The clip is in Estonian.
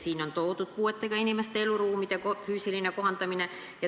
Siin on räägitud puuetega inimeste eluruumide füüsilisest kohandamisest.